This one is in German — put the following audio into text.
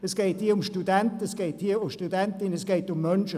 Es geht hier um Studentinnen und Studenten, also um Menschen.